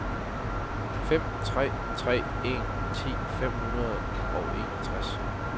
fem tre tre en ti fem hundrede og enogtres